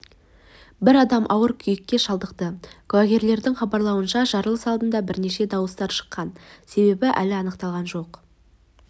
бір адам ауыр күйікке шалдықты куәгерлердің хабарлауынша жарылыс алдында бірнеше дауыстар шыққан себебі әлі анықталған жоқ